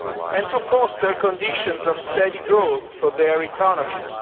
and to foster conditions of steady growth for their economies.